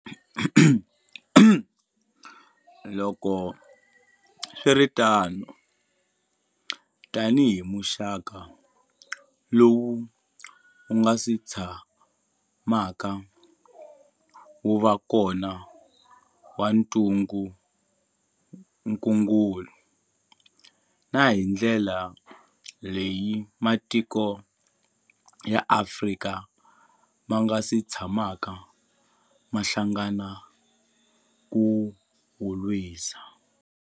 Loko swi ri tano, tanihi muxaka lowu wu nga si tshamaka wu va kona wa ntungukulu, na hi ndlela leyi matiko ya Afrika ma nga si tshamaka ma hlangana ku wu lwisa.